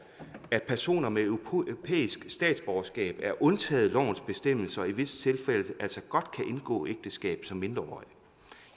at personer med europæisk statsborgerskab er undtaget lovens bestemmelser og i visse tilfælde altså godt kan indgå ægteskab som mindreårige